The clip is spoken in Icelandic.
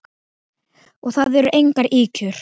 Og það eru engar ýkjur.